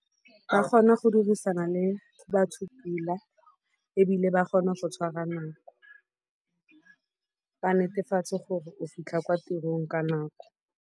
Ba kgona go dirisana le go batho pila ebile ba kgona go tshwara nako. Ba netefatse gore o fitlha kwa tirong ka nako.